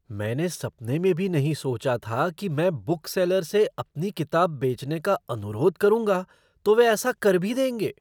मैंने सपने में भी नहीं सोचा था कि मैं बुकसेलर से अपनी किताब बेचने का अनुरोध करूँगा तो वे ऐसा कर भी देंगे!